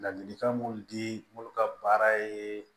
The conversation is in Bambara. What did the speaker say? Ladilikan mun di minnu ka baara ye